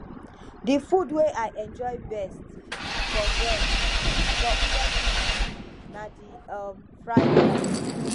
the food wey i enjoy best for best for ngozi party na the um fried rice